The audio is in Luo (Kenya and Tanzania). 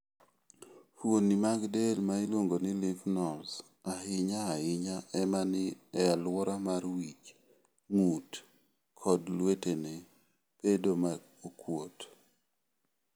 Fuoni mag del ma iluong ni Lymph nodes, ahinya ahinya ma ni e alwora mar wich, ng�ut, kod lwetene, bedo ma okuot.